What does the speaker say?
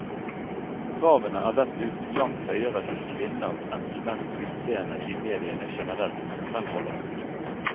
Kravene er dessuten langt høyere til kvinners enn til menns utseende i mediene generelt, fremholder hun.